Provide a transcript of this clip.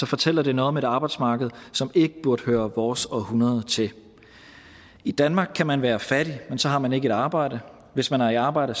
fortæller det noget om et arbejdsmarked som ikke burde høre vores århundrede til i danmark kan man være fattig men så har man ikke et arbejde og hvis man er i arbejde